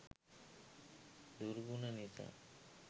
දුර්ගුණ නිසා